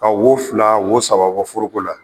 Ka wo fila wo saba bɔ foroko la